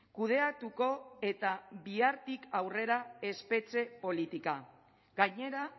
kudeatuko eta bihartik aurrera espetxe politika gainera